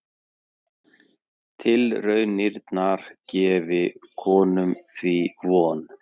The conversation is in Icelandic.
Tilraunirnar gefi konum því von